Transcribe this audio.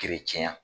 tiɲɛ na